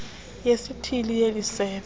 yesithili yeli sebe